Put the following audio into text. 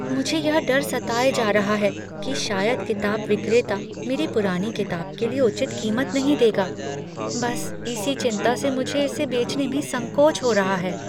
मुझे यह डर सताए जा रहा है कि शायद किताब विक्रेता मेरी पुरानी किताब के लिए उचित कीमत नहीं देगा। बस इसी चिंता से मुझे इसे बेचने में संकोच हो रहा है।